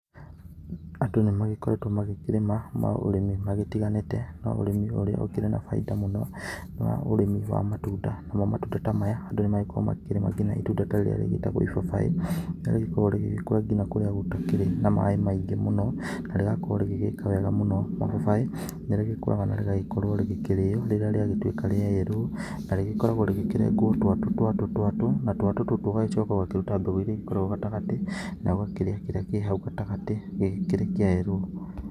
Andũ nĩ magĩkoretwo magĩkĩrĩma maũrĩmi magĩtĩganĩte no ũrĩmi ũrĩa ũkĩrĩ na baita mũno nĩ ũrĩmi wa matunda, namo matunda ta maya andũ nĩ makoragwo makĩrĩma nginya itunda rĩrĩa rĩtagwo ibabai na nĩrĩ kũragwo rĩgĩkũra nginya kũrĩa gũtakĩrĩ maĩ maingĩ mũno na rĩgakorwo rĩgĩgĩka wega mũno, ibabai nĩ rĩkoragwo na rĩgakorwo rĩkĩrĩo rĩrĩa rĩa gĩtuika rĩa yerũ na rĩkoragwo rĩkĩ regwo twatũ twatũ na twatũ tũtũ ũgagĩcoka ũgagĩcoka ũgakĩruta mbegũ irĩa ikoragwo gatagatĩ na ũgakĩrĩa kĩrĩa kĩ hau gatagatĩ gĩkĩrĩ kĩa yerũ.